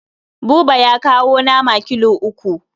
Buba ya kawo nama kilo uku.